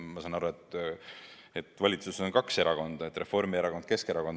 Ma saan aru, et valitsuses on kaks erakonda: Reformierakond ja Keskerakond.